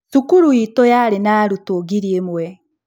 Cukuru itũ yarĩ na arutwo ngiri ĩmwe.